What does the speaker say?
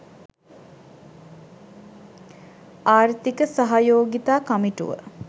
ආර්ථික සහයෝගිතා කමිටුව